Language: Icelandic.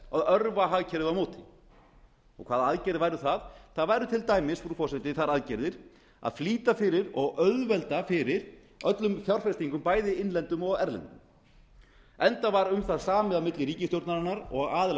að örva hagkerfið á móti hvaða aðgerðir væru það það væru til dæmis frú forseti þær aðgerðir að flýta fyrir og auðvelda fyrir öllum fjárfestingum bæði innlæendum og erlendum enda var um það samið á milli ríkisstjórnarinnar og aðila